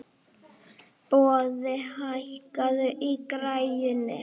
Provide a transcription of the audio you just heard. Boði, hækkaðu í græjunum.